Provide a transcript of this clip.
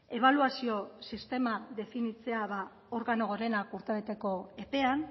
ebaluazio sistema definitzea organo gorenak urtebeteko epean